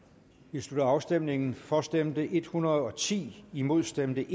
vi slutter afstemningen for stemte en hundrede og ti imod stemte